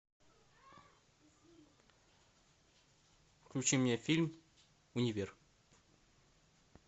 включи мне фильм универ